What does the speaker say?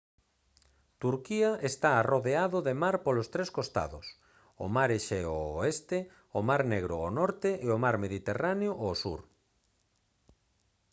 turquía está arrodeado de mar polos tres costados o mar exeo ao oeste o mar negro ao norte e o mar mediterráneo ao sur